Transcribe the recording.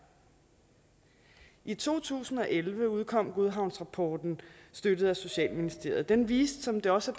i to tusind og elleve udkom godhavnsrapporten støttet af socialministeriet den viste som det også